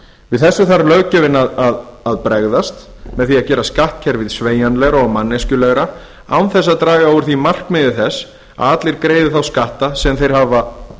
við þessu þarf löggjöfin að bregðast með því að gera skattkerfið sveigjanlegra og manneskjulegra án þess að draga úr markmiði þess að allir greiði þá skatta sem þeir hafa